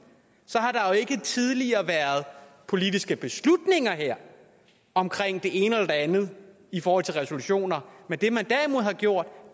har der ikke tidligere været politiske beslutninger her om det ene eller andet i forhold til resolutioner men det man derimod har gjort